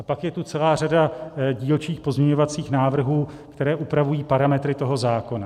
A pak je to celá řada dílčích pozměňovacích návrhů, které upravují parametry toho zákona.